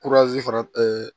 fara